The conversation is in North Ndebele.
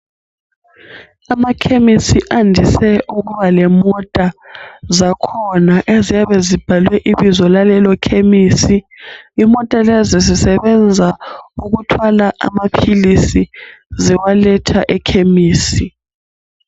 Amakhemesi andise ukuba lemota zakhona eziyabe zibhalwe ibizo lalelo khemisi . Imota lezi zisebenza ukuthwala amaphilisi ziwaletha ekhemisi